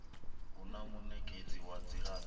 hu na munekedzi wa dzilafho